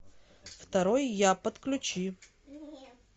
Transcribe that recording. второй я подключи